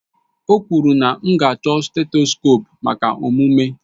O kwuru na m ga-achọ setskope maka omume